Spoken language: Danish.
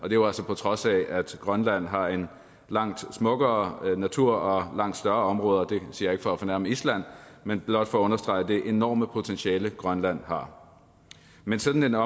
jo altså på trods af at grønland har en langt smukkere natur og langt større områder det siger jeg ikke for at fornærme island men blot for at understrege det enorme potentiale grønland har men sådan